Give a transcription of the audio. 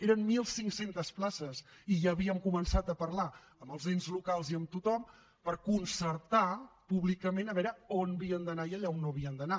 eren mil cinc cents places i ja havíem començat a parlar amb els ens locals i amb tothom per concertar públicament a veure on havien d’anar i allà on no havien d’anar